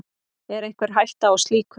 Er einhver hætta á slíku?